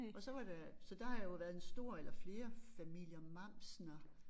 Og så var der så der har jo været en stor eller flere familier Mamsener